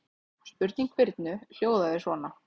Spurning Birnu hljóðaði svona: